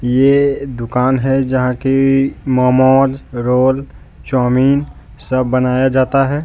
ये दुकान है जहां की मोमोज रोल चाऊमीन सब बनाया जाता है।